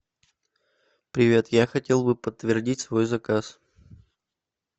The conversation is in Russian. привет я хотел бы подтвердить свой заказ